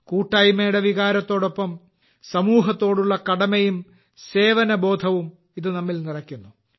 കൂട്ടായ്മയുടെ വികാരത്തോടൊപ്പം സമൂഹത്തോടുള്ള കടമയും സേവന ബോധവും ഇത് നമ്മിൽ നിറയ്ക്കുന്നു